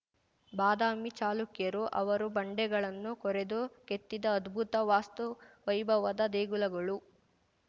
ಬಾದಾಮಿ ಚಾಲುಕ್ಯರು ಅವರು ಬಂಡೆಗಳನ್ನು ಕೊರೆದು ಕೆತ್ತಿದ ಅದ್ಭುತ ವಾಸ್ತುವೈಭವದ ದೇಗುಲಗಳು